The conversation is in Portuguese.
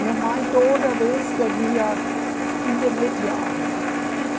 Minha mãe toda vez devia, intermediar, né?